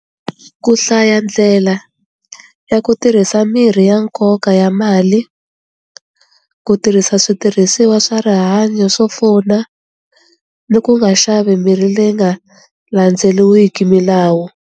Ku hlaya ndlela ya ku tirhisa mirhi ya nkoka ya mali ku tirhisa switirhisiwa swa rihanyo swo pfuna ni ku nga xavi mirhi leyi nga landzeliwileki milawu.